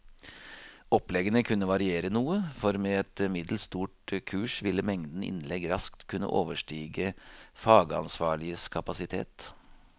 Oppleggene kunne variere noe, for med et middels stort kurs ville mengden innlegg raskt kunne overstige fagansvarliges kapasitet.